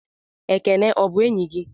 Ekene ọ bụ enyị gị?